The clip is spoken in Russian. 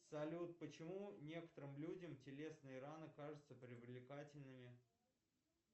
салют почему некоторым людям телесные раны кажутся привлекательными